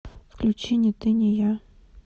включи ни ты ни я